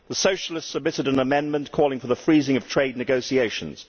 The Socialists submitted an amendment calling for the freezing of trade negotiations.